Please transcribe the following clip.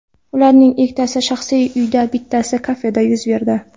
Ularning ikkitasi shaxsiy uyda, bittasi kafeda yuz berdi.